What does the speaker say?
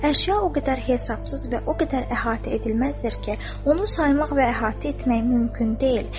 Əşya o qədər hesabsız və o qədər əhatə edilməzdir ki, onu saymaq və əhatə etmək mümkün deyil.